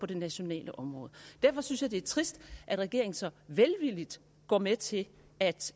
det nationale område derfor synes jeg det er trist at regeringen så velvilligt går med til at